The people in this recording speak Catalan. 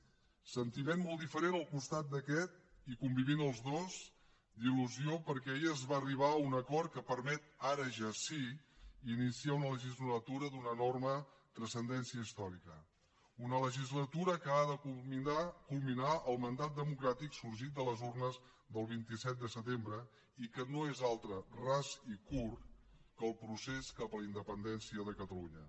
sentiment molt diferent al costat d’aquest i convivint els dos d’il·lusió perquè ahir es va arribar a un acord que permet ara ja sí iniciar una legislatura d’una enorme transcendència històrica una legislatura que ha de culminar el mandat democràtic sorgit de les urnes del vint set de setembre i que no és altre ras i curt que el procés cap a la independència de catalunya